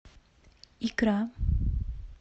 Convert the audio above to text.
икра